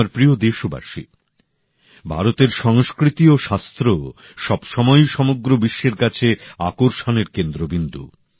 আমার প্রিয় দেশবাসী ভারতের সংস্কৃতি ও শাস্ত্র সবসময়ই সমগ্র বিশ্বের কাছে আকর্ষণের কেন্দ্রবিন্দু